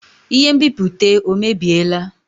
Ihe nbipute ọ mebiela?